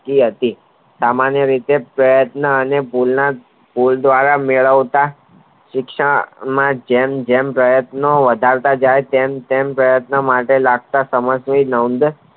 હતી સામાન્ય રીતે પ્રયત્નો અને ફૂલ દ્વારા મેળવતા શિક્ષણ માં જેમ જેમ પ્રયત્નો વધારતા જાય તેમ તેમ પ્રયત્નો માટે લગતા